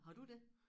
Har du det?